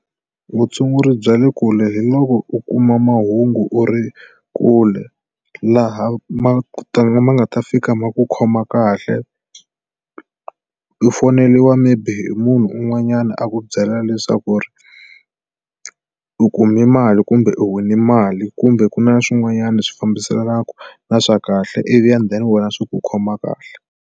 Vutshunguri bya le kule hi loko u kuma mahungu u ri kule laha ma ku tala ma nga ta fika ma ku khoma kahle u foyineliwa maybe hi munhu un'wanyana a ku byela leswaku ku ri u kume mali kumbe u wine mali kumbe ku na swin'wanyana swi fambiselenaka na swa kahle i vi and then wena swi ku khoma kahle.